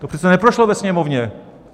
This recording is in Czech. To přece neprošlo ve Sněmovně.